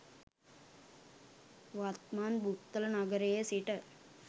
වත්මන් බුත්තල නගරයේ සිට